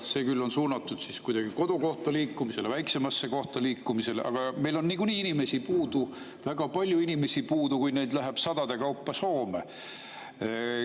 See on küll suunatud kuidagi kodukohta liikumisele, väiksemasse kohta liikumisele, aga meil on niikuinii inimesi puudu, väga palju on inimesi puudu, kui neid läheb sadade kaupa Soome.